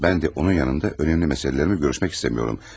Mən də onun yanında önəmli məsələlərimi görüşmək istəmirəm.